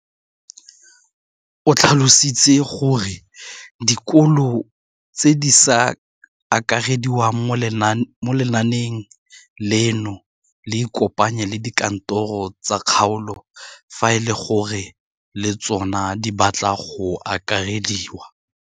O tlhalositse gore dikolo tse di sa akarediwang mo lenaaneng leno di ikopanye le dikantoro tsa kgaolo fa e le gore le tsona di batla go akarediwa.